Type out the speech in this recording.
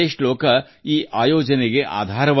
ಈ ಶ್ಲೋಕವೇ ಈ ಕಾರ್ಯಕ್ರಮಕ್ಕೆ ಮೂಲಾಧಾರ